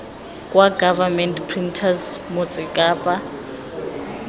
kwa government printers motse kapa